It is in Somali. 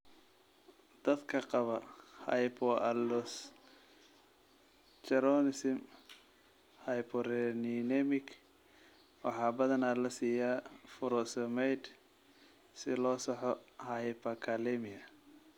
Dadka qaba hypoaldosteronism hyporeninemic waxaa badanaa la siiyaa furosemide si loo saxo hyperkalemia.